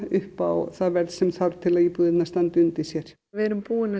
upp á það verð sem þarf til að íbúðirnar standi undir sér við erum búin